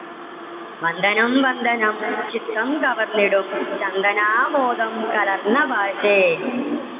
വന്ദനം വന്ദനം ചിത്തം കവർന്നിടും ചന്തനാമോദം കലർന്ന ഭാഷേ.